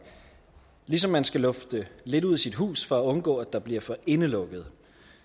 ligesom man skal lufte lidt ud i sit hus for at undgå at der bliver for indelukket